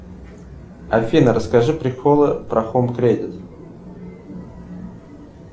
афина расскажи приколы про хоум кредит